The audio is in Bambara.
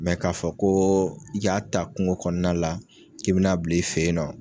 k'a fɔ koo i y'a ta kungo kɔɔna la k'i bi n'a bil'i fe yen nɔ